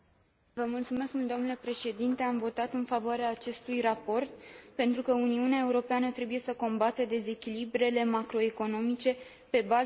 Am votat în favoarea acestui raport, pentru că Uniunea Europeană trebuie să combată dezechilibrele macroeconomice pe baza unei abordări simetrice.